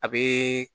A bɛ